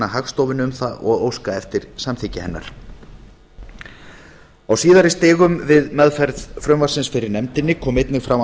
hagstofunni um það og óska eftir samþykki hennar á síðari stigum við meðferð frumvarpsins fyrir nefndinni kom einnig fram